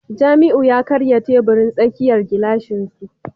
Jamiu ya karya teburin tsakiyar gilashin su